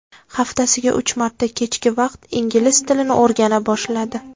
Haftasiga uch marta kechki payt ingliz tilini o‘rgana boshladi.